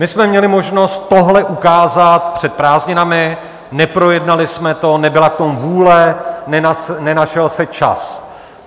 My jsme měli možnost tohle ukázat před prázdninami, neprojednali jsme to, nebyla k tomu vůle, nenašel se čas.